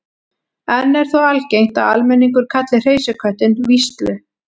enn er þó algengt að almenningur kalli hreysiköttinn víslu